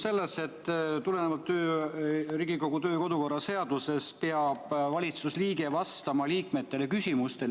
Tulenevalt Riigikogu kodu- ja töökorra seadusest peab valitsusliige vastama liikmete küsimustele.